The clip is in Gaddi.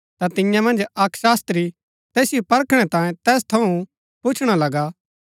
ता तियां मन्ज अक्क शास्त्री तैसिओ परखणै तांयें तैस थऊँ पुछणा लगा